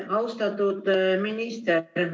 Austatud minister!